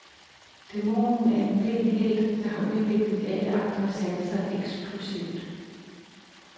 Dæmonen er en blind helt, der har udviklet alle andre sanser eksplosivt.